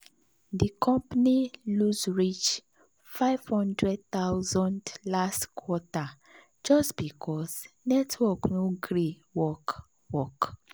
the company lose reach fifty thousand dollars0 last quarter just because network no gree work. work.